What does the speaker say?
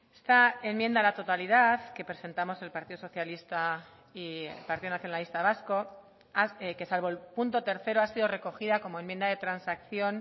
esta enmienda a la totalidad que presentamos el partido socialista y el partido nacionalista vasco que salvo el punto tercero ha sido recogida como enmienda de transacción